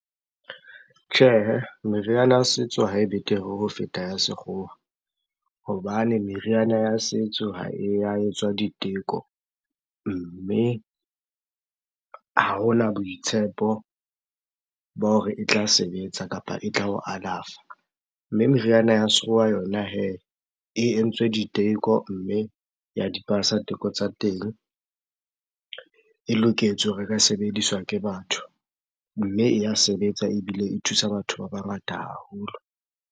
Tjhehe, meriana ya setso ha e betere ho feta ya sekgowa. Hobane meriana ya setso ha e ya etswa diteko, mme ha hona boitshepo ba hore e tla sebetsa kapa e tla o alafa. Mme meriana ya sekgowa yona hee, e entswe diteko mme ya di pasa teko tsa teng. E loketswe hore e ka sebediswa ke batho. Mme e ya sebetsa ebile e thusa batho ba bangata haholo.